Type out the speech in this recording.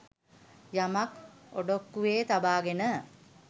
යමක් ඔඩොක්කුවේ තබාගෙන